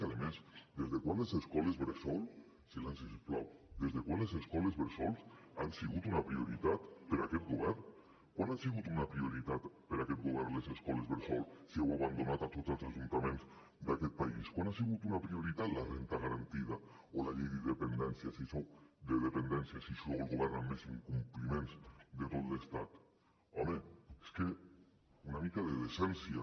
que a més des de quan les escoles bressol silenci si us plau des de quan les escoles bressol han sigut una prioritat per a aquest govern quan han sigut una prioritat per a aquest govern les escoles bressol si heu abandonat a tots els ajuntaments d’aquest país quan ha sigut una prioritat la renda garantida o la llei de dependència si sou el govern amb més incompliments de tot l’estat home és que una mica de decència